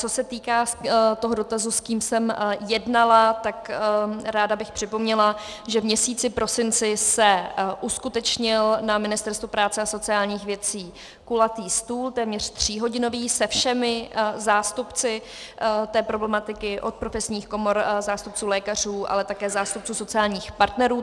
Co se týká toho dotazu, s kým jsem jednala, tak bych ráda připomněla, že v měsíci prosinci se uskutečnil na Ministerstvu práce a sociálních věcí kulatý stůl, téměř tříhodinový, se všemi zástupci té problematiky, od profesních komor, zástupců lékařů, ale také zástupců sociálních partnerů.